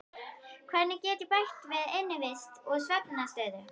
Hvernig get ég bætt innivist og svefnaðstöðu?